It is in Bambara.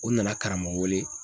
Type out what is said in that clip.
U nana karamɔgɔ wele.